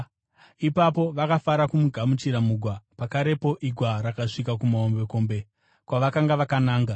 Ipapo vakafara kumugamuchira mugwa; pakarepo igwa rakasvika kumahombekombe kwavakanga vakananga.